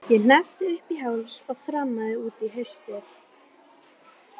Þau segja að það sé besti tími ársins.